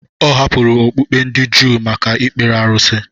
Ọ hapụrụ okpukpe ndị Juu maka ikpere arụsị.